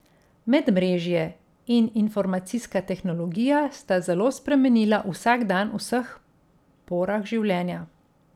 Medmrežje in informacijska tehnologija sta zelo spremenila vsakdan v vseh porah življenja.